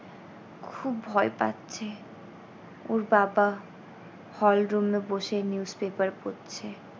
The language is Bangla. খুব ভয় পাচ্ছে ওর বাবা hall room এ বসে news paper পড়ছে।